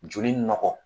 Joli nɔgɔ